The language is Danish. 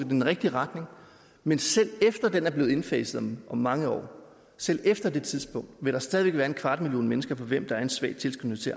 den rigtige retning men selv efter at den er blevet indfaset om mange år selv efter det tidspunkt vil der stadig væk være en kvart million mennesker for hvem der er en svag tilskyndelse